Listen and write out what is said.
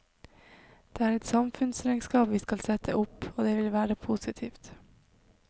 Det er et samfunnsregnskap vi skal sette opp, og det vil være positivt.